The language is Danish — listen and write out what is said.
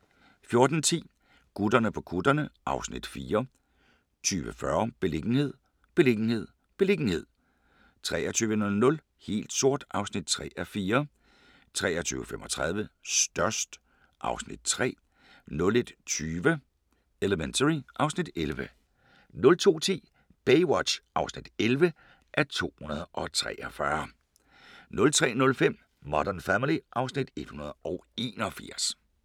14:10: Gutterne på kutterne (Afs. 4) 20:40: Beliggenhed, beliggenhed, beliggenhed 23:00: Helt sort (3:4) 23:35: Størst (Afs. 3) 01:20: Elementary (Afs. 11) 02:10: Baywatch (11:243) 03:05: Modern Family (Afs. 181)